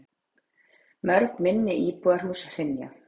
Mörg minni íbúðarhús hrynja.